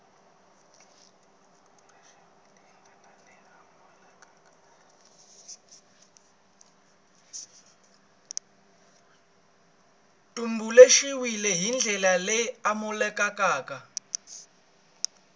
tumbuluxiwile hi ndlela leyi amukelekaka